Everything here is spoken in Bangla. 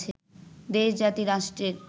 দেশ, জাতি, রাষ্ট্রের